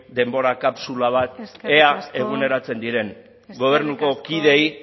denbora kapsula bat ea eguneratzen diren gobernuko kideei